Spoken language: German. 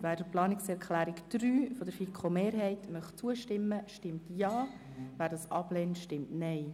Wer der Planungserklärung 3 der FiKo-Mehrheit zustimmen möchte, stimmt Ja, wer diese ablehnt, stimmt Nein.